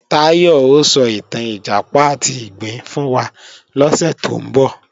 Táyọ̀ ó sọ ìtàn Ìjàpá àti ìgbín fún wa lọ́sẹ̀ tó ń bọ̀